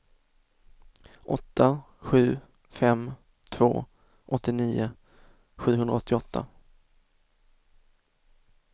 åtta sju fem två åttionio sjuhundraåttioåtta